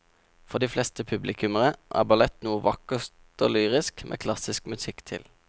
For de fleste publikummere er ballett noe vakkert og lyrisk med klassisk musikk til.